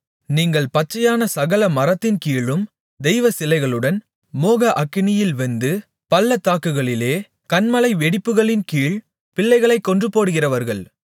நீங்கள் பச்சையான சகல மரத்தின்கீழும் தெய்வச்சிலைகளுடன் மோக அக்கினியில் வெந்து பள்ளத்தாக்குகளிலே கன்மலை வெடிப்புகளின் கீழ் பிள்ளைகளைக் கொன்றுபோடுகிறவர்கள்